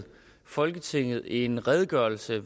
folketinget i fredags behandlede en redegørelse